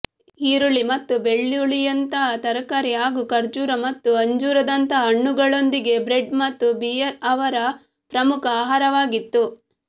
ಈರುಳ್ಳಿ ಮತ್ತು ಬೆಳ್ಳುಳ್ಳಿಯಂತಹ ತರಕಾರಿ ಹಾಗೂ ಖರ್ಜೂರ ಮತ್ತು ಅಂಜೂರದಂತಹ ಹಣ್ಣುಗಳೊಂದಿಗೆ ಬ್ರೆಡ್ ಮತ್ತು ಬಿಯರ್ ಅವರ ಪ್ರಮುಖ ಆಹಾರವಾಗಿತ್ತು